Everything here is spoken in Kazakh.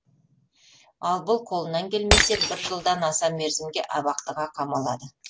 ал бұл қолынан келмесе бір жылдан аса мерзімге абақтыға қамалады